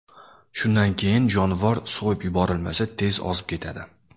Shundan keyin jonivor so‘yib yuborilmasa, tez ozib ketadi.